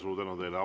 Suur tänu teile!